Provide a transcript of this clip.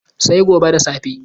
Sai gobe da safe.